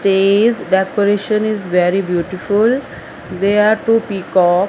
chairs decoration is very beautiful there are two peacock.